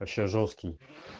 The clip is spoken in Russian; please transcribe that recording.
вообще жёсткий